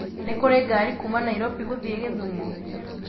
nĩ kũrĩ ngari kuuma Nairobi gũthiĩ githumo